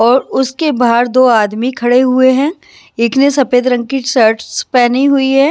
और उसके बाहर दो आदमी खड़े हुए हैं एक ने सफेद रंग की शर्ट्स पहनी हुई है।